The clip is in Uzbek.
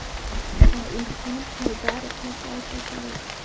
va Ilhom Haydarovni kaltaklaydi.